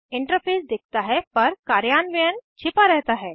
interface दिखता है पर कार्यान्वयन छिपा रहता है